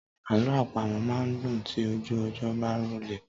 Alọ àpamọ máa n dùn tí ojú ọjọ́ bá rọlẹ̀.